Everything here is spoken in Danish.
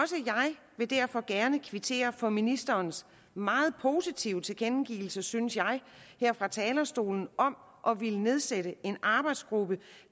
vil derfor gerne kvittere for ministerens meget positive tilkendegivelse synes jeg her fra talerstolen om at ville nedsætte en arbejdsgruppe